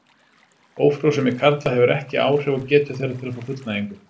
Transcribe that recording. Ófrjósemi karla hefur ekki áhrif á getu þeirra til að fá fullnægingu.